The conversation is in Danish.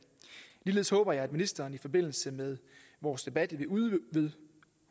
ligeledes håber jeg at ministeren i forbindelse med vores debat vil